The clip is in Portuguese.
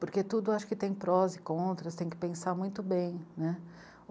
Porque tudo acho que tem prós e contras, tem que pensar muito bem, né.